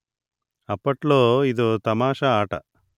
అప్పట్లో ఇదో తమాషా ఆట